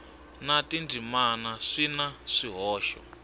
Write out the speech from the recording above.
na tindzimana swi na swihoxo